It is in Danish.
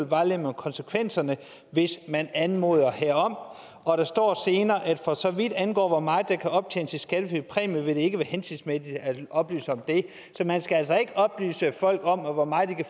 vejledning om konsekvenserne hvis man anmoder herom og der står senere at for så vidt angår hvor meget der kan optjenes i skattefri præmie vil det ikke være hensigtsmæssigt at oplyse om det så man skal altså ikke oplyse folk om hvor meget de